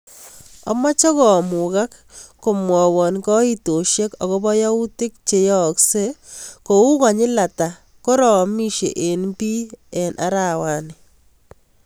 Amache komugak komwawan kaitoshek agobo yautik cheyaaksei kou konyil ata koraamishei en bii en arawani